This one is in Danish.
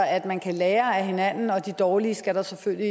at man kan lære af hinanden og de dårlige skal der selvfølgelig